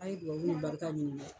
A' ye duwawu barika ɲini dɛ